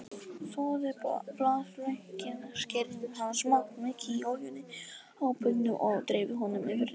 Þvoið blaðlaukinn, skerið hann smátt, mýkið í olíunni á pönnu og dreifið honum yfir réttinn.